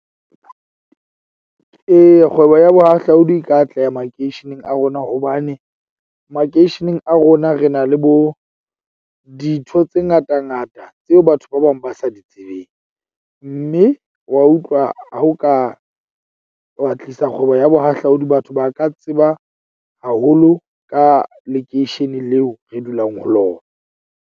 Eya, kgwebo ya bohahlaudi e ka atleha makeisheneng a rona, hobane makeisheneng a rona re na le bo dintho tse ngata ngata tseo batho ba bang ba sa di tsebeng. Mme wa utlwa? Ha o ka wa tlisa kgwebo ya bohahlaudi, batho ba ka tseba haholo ka lekeishene leo re dulang ho lona.